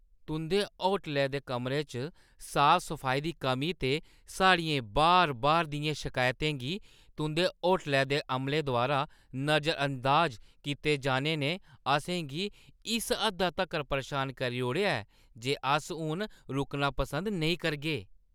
तुंʼदे होटलै दे कमरे च साफ-सफाई दी कमी ते साढ़ियें बार-बार दियें शिकायतें गी तुंʼदे होटलै दे अमले द्वारा नजरअंदाज कीते जाने ने असें गी इस हद्दा तक्कर परेशान करी ओड़ेआ ऐ जे अस हून रुकना पसंद नेईं करगे।